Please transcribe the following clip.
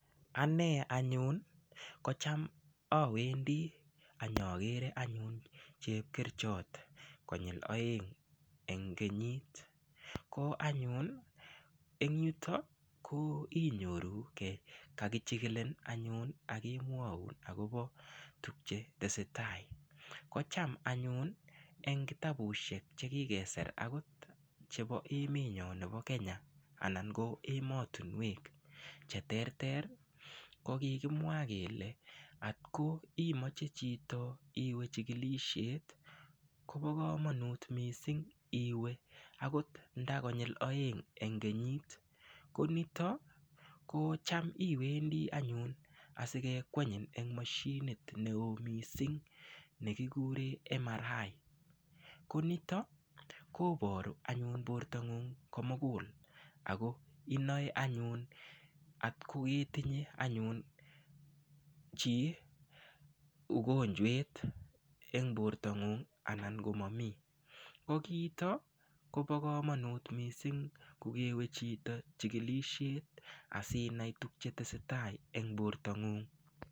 Ane anyun kocham awendi anyakere anyun chepkerichot konyul oeng' eng' kenyit ko anyun eng' yuto ko inyorugei kakichikilin anyun akemwoun akobo tukche tesei tai kocham anyun eng' kitabushek chekikeser akot chebo emenyo nebo Kenya anan ko emotinwek cheterter ko kikimwa kele atko imoche chito iwe chikilishet kobo komonut mising' iwe akot nda konyil oeng' eng' kenyit ko nito kocham iwendi anyun asikekwenyin eng' mashinit neo mising' nekikure MRI ko nito koboru anyun bortong'ung' komugul ako inoe anyun ako ketinye anyun chi ugonjwet eng' bortong'ung' anan ko mamii ko kiito Kobo komonut mising' kukewe chito chikilishet asinai tukche tesei tai eng' bortong'ung'